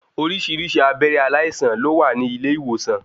Oríṣiríṣi abẹ́rẹ́ aláìsàn ló wà ní ilé ìwòsan.